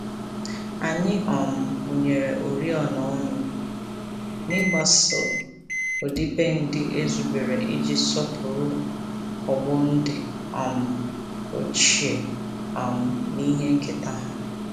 Anyị um mụnyere oriọna ọnụ, n'igbaso ọdịbendị e zubere iji sọpụrụ ọgbọ ndị um ochie um na ihe nketa ha.